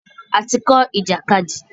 A ti kọ́ ìjàkadì.